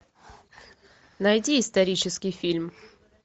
найди исторический фильм